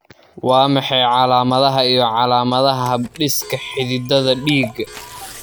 Waa maxay calaamadaha iyo calaamadaha habdhiska xididdada dhiigga